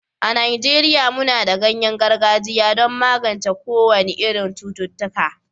a Najeriya muna da ganyen gargajiya don magance kowane irin cututtuka